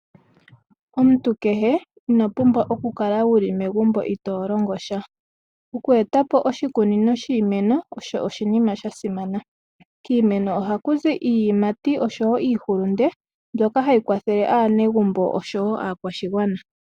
Omuntu kehe inopumbwa okukala uli megumbo ito longo sha. Okweetapo oshikunino shiimeno osho oshinima sha simana. Kiimeno ohakuzi iiyimati osho wo iihulunde mbyoka hayi kwathele aanegumbo osho wo aakwashigwana.